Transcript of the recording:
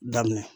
Daminɛ